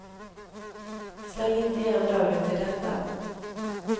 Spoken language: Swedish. Släng inte igen dörren till detta.